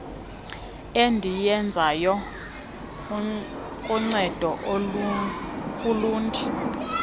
endiyenzayo kuncedo ulundi